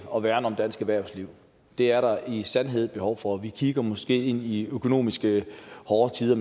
og værne om dansk erhvervsliv det er der i sandhed et behov for vi kigger måske ind i økonomiske hårde tider